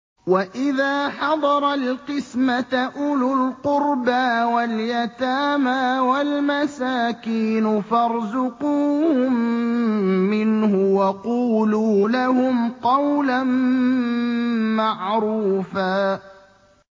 وَإِذَا حَضَرَ الْقِسْمَةَ أُولُو الْقُرْبَىٰ وَالْيَتَامَىٰ وَالْمَسَاكِينُ فَارْزُقُوهُم مِّنْهُ وَقُولُوا لَهُمْ قَوْلًا مَّعْرُوفًا